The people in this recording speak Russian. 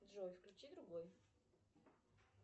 джой включи другой